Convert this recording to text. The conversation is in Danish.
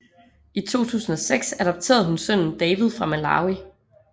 I 2006 adopterede hun sønnen David fra Malawi